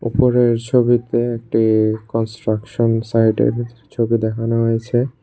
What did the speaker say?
উপরের ছবিতে একটি কনস্ট্রাকশন সাইডের ছবি দেখানো হয়েছে।